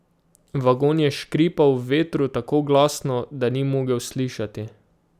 Vagon je škripal v vetru tako glasno, da ni mogel slišati.